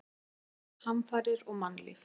Náttúruhamfarir og mannlíf.